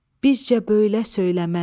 Bizcə böylə söyləmək.